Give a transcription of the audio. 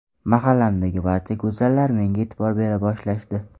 Mahallamdagi barcha go‘zallar menga e’tibor bera boshlashdi.